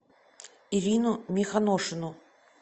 ирину мехоношину